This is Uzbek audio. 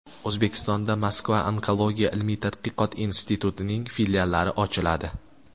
O‘zbekistonda Moskva onkologiya ilmiy-tadqiqot institutining filiallari ochiladi.